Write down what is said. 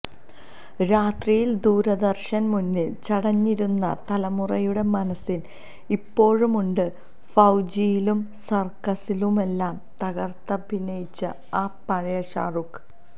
രാത്രിയില് ദൂരദര്ശന് മുന്നില് ചടഞ്ഞിരുന്ന തലമുറയുടെ മനസ്സില് ഇപ്പോഴുമുണ്ട് ഫൌജിയിലും സര്ക്കസിലുമെല്ലാം തകര്ത്തഭിനയിച്ച ആ പഴയ ഷാരൂഖ്